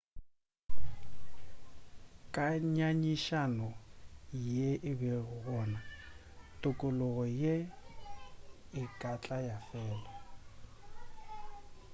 ka nyanyišano ye e bego gona tokologo ye e ka tla ya fela